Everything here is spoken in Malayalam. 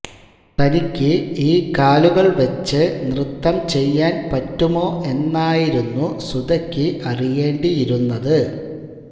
തനിക്ക് ഈ കാലുകള് വച്ച് നൃത്തം ചെയ്യാന് പറ്റുമോ എന്നായിരുന്നു സുധയ്ക്ക് അറിയേണ്ടിയിരുന്നത്